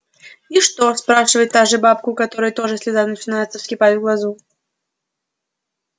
и что спрашивает та же бабка у которой тоже слеза начинается вскипать в глазу